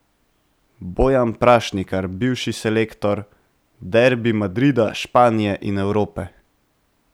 Bojan Prašnikar, bivši selektor: 'Derbi Madrida, Španije in Evrope.